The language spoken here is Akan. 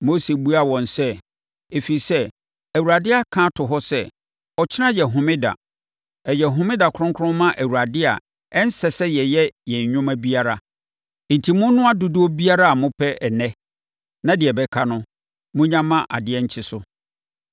Mose buaa wɔn sɛ, “Ɛfiri sɛ, Awurade aka ato hɔ sɛ, ‘Ɔkyena yɛ homeda. Ɛyɛ homeda kronkron ma Awurade a ɛnsɛ sɛ yɛyɛ yɛn nnwuma biara. Enti, monnoa dodoɔ biara a mopɛ ɛnnɛ, na deɛ ɛbɛka no, monnya ma adeɛ nkye so.’ ”